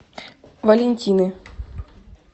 валентины